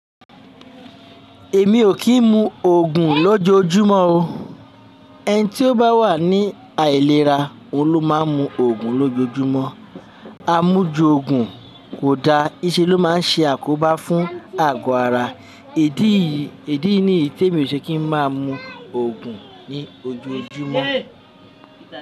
Èmi ò kí ń mu Ògùn lójoójúmọ́ o. Ẹni tí ó bá wà ní àìlera, òun ló máa ń mu Ògùn lójoójúmọ́. A mú ju Ògùn kò da, íse ló máa ń ṣe àkóbá fún àgọ́ ara. Idi ni yii ti emi ò ṣe kí ń máa mu Ògùn ní ojoojúmọ́.